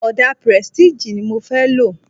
Ọdà prestige ni mo fẹ́ lo.